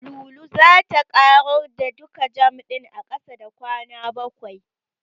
Lulu zata ƙarar da duka jam ɗin a ƙasa da kwana bakwai.